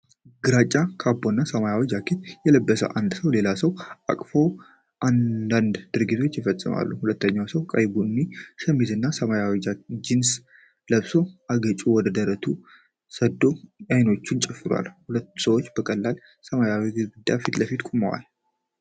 ግራጫ ካፕና ሰማያዊ ጃኬት የለበሰ አንድ ሰው ሌላ ሰውን ከኋላ አቅፎ አንዳች ድርጊት ይፈጽማል። ሁለተኛው ሰው ቀይ ቡኒ ሸሚዝና ሰማያዊ ጂንስ ለብሶ አገጩን ወደ ደረቱ ሰዶ አይኖቹን ጨፍኗል። ሁለቱ ሰዎች በቀላል ሰማያዊ ግድግዳ ፊት ለፊት ናቸው።